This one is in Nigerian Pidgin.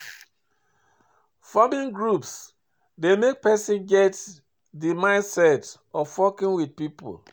Forming groups dey make person get di mindset of working with pipo